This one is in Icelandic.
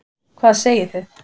Hvað segið þið?